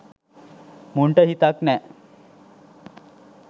මුන්ට හිතක් නෑ